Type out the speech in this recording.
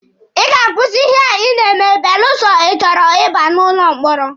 Ị ga-akwụsị ihe a Ị na-eme belụsọ ịchọrọ Ị ba n'ụlọ mkpọrọ.